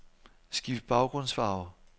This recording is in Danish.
Skift baggrundsfarve.